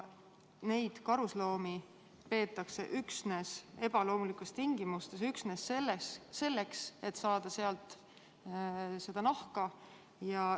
Farmides peetakse karusloomi ebaloomulikes tingimustes aga üksnes selleks, et saada karusnahka.